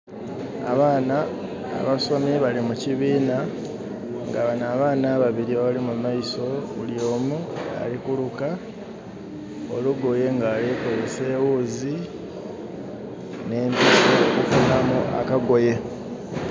Abaana abasomi bali mu kibiina nga banho abaana ababiri abali mu maiso, buli omu ali kuluka olugoye nga alikozesa eghuzi, n'empiso okufunamu akagoye.